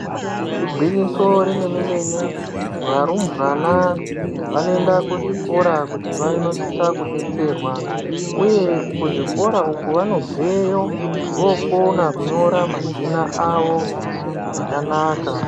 Igwinyiso remene-mene, varumbwana vanoenda kuzvikora kuti vanosisa kudetserwa, uye kuzvikora uku vanobveyo vokona kunyora mazina avo zvakanaka.